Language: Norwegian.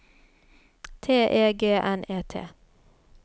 T E G N E T